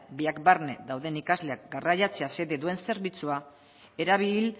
biak barne dauden ikasleak garraiatzea xede duen zerbitzua erabil